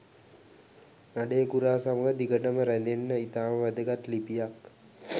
නඩේ ගුරා සමග දිගටම රැඳෙන්න ඉතාම වැදගත් ලිපියක්.